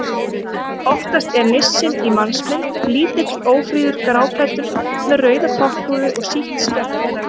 Oftast er nissinn í mannsmynd: Lítill, ófríður, gráklæddur með rauða topphúfu og sítt skegg.